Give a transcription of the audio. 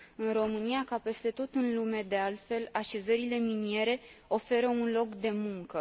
În România, ca peste tot în lume de altfel, așezările miniere oferă un loc de muncă.